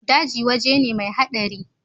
Daji waje ne mai hadari.